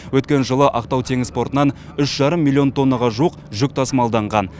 өткен жылы ақтау теңіз портынан үш жарым миллион тоннаға жуық жүк тасымалданған